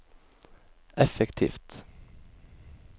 effektivt